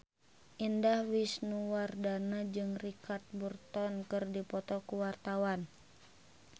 Indah Wisnuwardana jeung Richard Burton keur dipoto ku wartawan